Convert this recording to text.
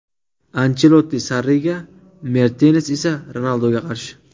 Anchelotti Sarriga, Mertens esa Ronalduga qarshi.